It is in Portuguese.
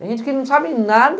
Tem gente que não sabe nada,